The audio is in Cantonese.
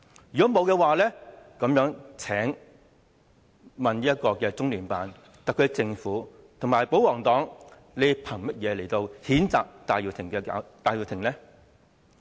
如果沒有的話，請問中聯辦、特區政府和保皇黨憑甚麼譴責戴耀廷呢？